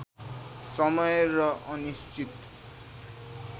समय र अनिश्चित